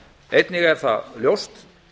einnig er ljóst